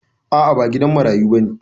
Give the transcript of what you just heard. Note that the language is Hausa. A'a ba gidan marayu bane.